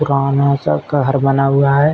गाँव में ऐसा बना हुआ है।